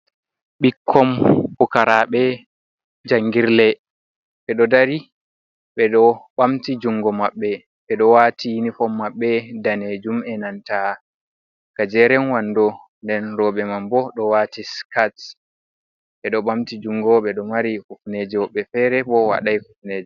Ɓikkon pukaraɓe jangirle ɓeɗo dari beɗo ɓamti jungo maɓɓe. Ɓeɗo waati inifom maɓɓe danejum e'nanta gajeren wando. Nden roɓe man bo ɗo waati skarts. Ɓeɗo ɓamti jungo, ɓeɗo mari kufneje, woɓɓe fere bo waɗai kufneje.